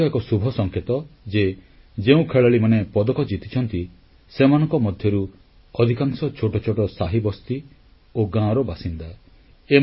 ଏହା ମଧ୍ୟ ଏକ ଶୁଭସଂକେତ ଯେ ଯେଉଁ ଖେଳାଳିମାନେ ପଦକ ଜିତିଛନ୍ତି ସେମାନଙ୍କ ମଧ୍ୟରୁ ଅଧିକାଂଶ ଛୋଟ ଛୋଟ ସାହିବସ୍ତି ଓ ଗାଁର ବାସିନ୍ଦା